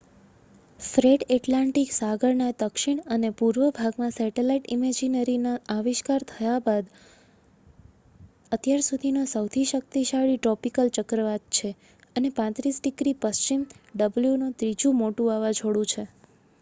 Fred Atlantic સાગરના દક્ષિણ અને પૂર્વ ભાગમાં સેટલાઈટ ઈમેજરીના આવિષ્કાર થયા બાદ અત્યાર સુધીનો સહુથી શક્તિશાળી ટ્રોપિકલ ચક્રવાત છે અને 35 ડિગ્રી પશ્ચિમ w નો ત્રીજુ મોટુ વાવાજોડુ છે